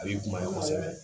A b'i kuma ye kosɛbɛ